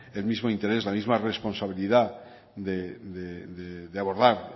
el mismo interés la misma responsabilidad de abordar